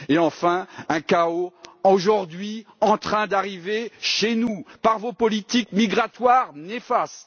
Et, enfin, un chaos qui, aujourd'hui, est en train d'arriver chez nous par vos politiques migratoires néfastes.